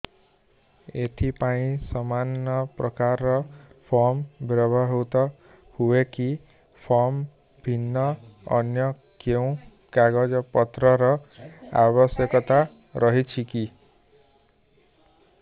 ଏଥିପାଇଁ ସମାନପ୍ରକାର ଫର୍ମ ବ୍ୟବହୃତ ହୂଏକି ଫର୍ମ ଭିନ୍ନ ଅନ୍ୟ କେଉଁ କାଗଜପତ୍ରର ଆବଶ୍ୟକତା ରହିଛିକି